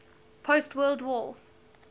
post world war